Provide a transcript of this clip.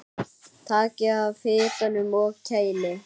Takið af hitanum og kælið.